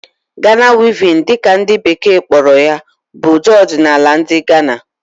Ghana Weaving' dị ka ndị bekee kpọrọ ya bụ ụdị ọdinaala ndị Gana